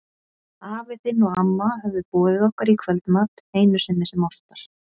Afi þinn og amma höfðu boðið okkur í kvöldmat, einu sinni sem oftar.